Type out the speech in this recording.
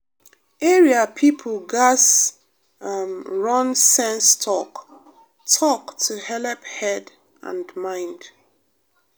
area people gatz um run sense talk-talk to helep head and mind.